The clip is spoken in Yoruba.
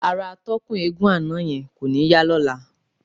Ara atọ́kùn eégún àná yẹn kò ní yá lọ́la.